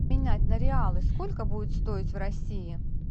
менять на реалы сколько будет стоить в россии